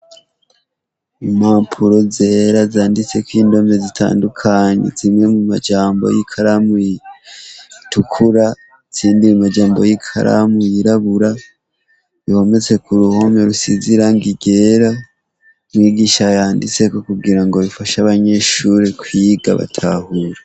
Impapuro zera zanditseko indome zitandukanye zimwe mumujambo y'ikaramu itukura izindi mumajambo z'ikaramu yirabura bihometse kuruhome rusize irangi ryera, umwigisha yanditseko kugira bifashe abanyeshure kwiga batahura.